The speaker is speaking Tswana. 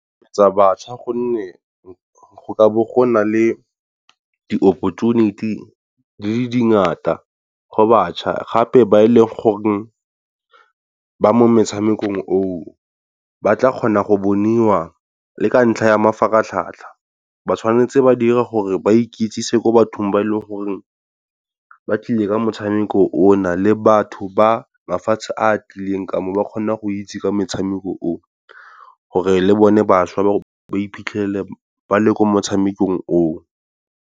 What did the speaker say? Tsa batjha gonne go ka bo gona le di-opportunity di le dingata go batjha gape ba e leng goreng ba mo metshamekong o o ba tla kgona go boniwa le ka ntlha ya mafaratlhatlha, ba tshwanetse ba dire gore ba ikitsise ko bathong ba e le gore ba tlile ka motshameko o na, le batho ba mafatshe a tlileng ka mo ba kgone go itse ka metshameko o. Gore le bone batjha ba iphitlhele ba le ko motshamekong o o.